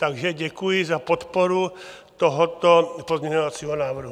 Takže děkuji za podporu tohoto pozměňovacího návrhu.